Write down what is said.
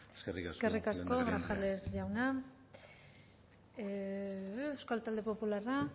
eskerrik asko eskerrik asko grajales jauna euskal talde popularra